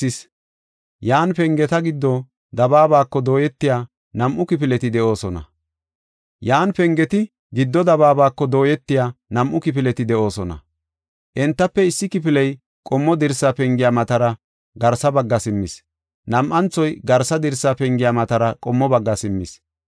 He uray tana giddo dabaaba gelsis. Yan pengeti giddo dabaabako dooyetiya nam7u kifileti de7oosona. Entafe issi kifiley qommo dirsa pengiya matara garsa bagga simmis; nam7anthoy garsa dirsa pengiya matara qommo bagga simmis.